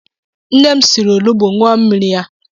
Nne m siri olugbu ṅụọ mmiri ya.